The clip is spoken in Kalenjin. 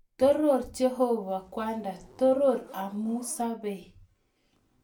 Toror Jehova kwanda, toror amu sobei